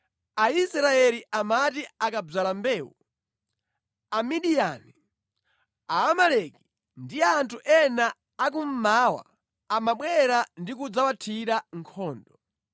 Aisraeli amati akadzala mbewu, Amidiyani, Aamaleki ndi anthu ena akummawa amabwera ndi kudzawathira nkhondo.